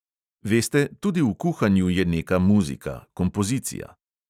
Veste, tudi v kuhanju je neka muzika, kompozicija …